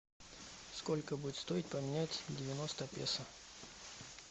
сколько будет стоить поменять девяносто песо